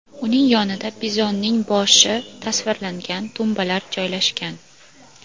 Uning yonida bizonning boshi tasvirlangan tumbalar joylashgan.